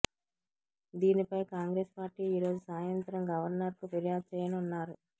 దీనిపై కాంగ్రెస్ పార్టీ ఈరోజు సాయంత్రం గవర్నర్ కు ఫిర్యాదు చేయనున్నారు